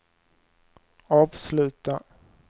avsluta